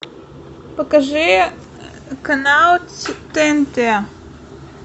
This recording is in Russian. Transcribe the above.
покажи канал тнт